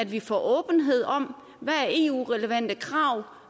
vi får åbenhed om hvad der er eu relevante krav